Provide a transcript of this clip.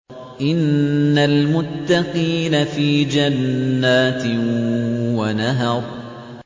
إِنَّ الْمُتَّقِينَ فِي جَنَّاتٍ وَنَهَرٍ